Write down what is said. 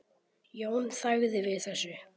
Jón þagði við þessu.